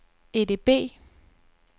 EDB